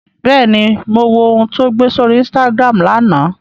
Bẹ́ẹ̀ni, mo wo ohun tó gbé sórí Instagram lánàá